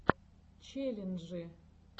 челленджи